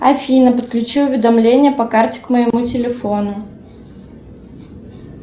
афина подключи уведомление по карте к моему телефону